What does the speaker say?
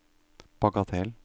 bagatell